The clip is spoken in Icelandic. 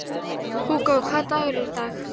Hugó, hvaða dagur er í dag?